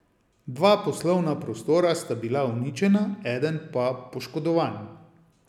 Dva poslovna prostora sta bila uničena, eden pa poškodovan.